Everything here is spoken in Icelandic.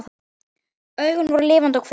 Augun voru lifandi og kvik.